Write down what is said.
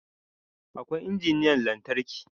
Akwai injiniyan lantarki